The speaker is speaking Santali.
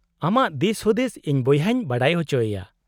-ᱟᱢᱟᱜ ᱫᱤᱥ ᱦᱩᱫᱤᱥ ᱤᱧ ᱵᱚᱭᱦᱟᱧ ᱵᱟᱰᱟᱭ ᱚᱪᱚᱭᱮᱭᱮ ᱾